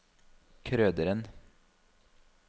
Krøderen